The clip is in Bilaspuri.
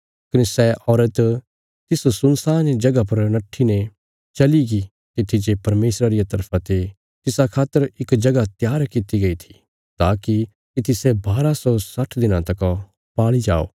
कने सै औरत तिस सुनसान जगह पर नट्ठीने चलीगी तित्थी जे परमेशरा रिया तरफा ते तिसा खातर इक जगह त्यार कित्ती गई थी ताकि तित्थी सै बारा सौ साठ दिनां तका पाल़ी जाओ